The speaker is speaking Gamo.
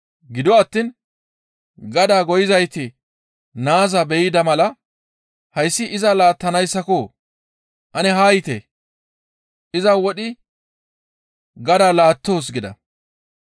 Gido attiin gadaa goyizayti naaza be7ida mala, ‹Hayssi iza laattanayssako! Ane haa yiite; iza wodhidi gadaa laattoos› gida.